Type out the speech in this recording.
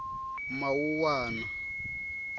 mawuwana